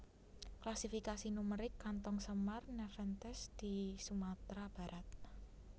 Klasifikasi numerik kantong semar Nepenthes di Sumatera Barat